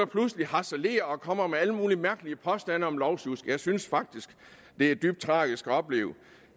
pludselig harcelerer og kommer med alle mulige mærkelige påstande om lovsjusk jeg synes faktisk det er dybt tragisk at opleve